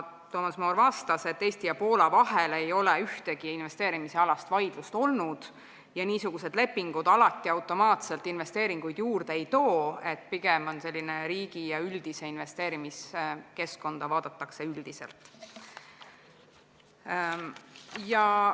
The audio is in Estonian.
Toomas Moor vastas, et Eesti ja Poola vahel ei ole ühtegi investeerimisalast vaidlust olnud ja niisugused lepingud alati automaatselt investeeringuid juurde ei too, pigem on see oluline, kui riigi üldist investeerimiskeskkonda üldiselt vaadatakse.